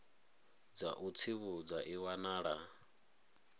dza u tsivhudza i wanala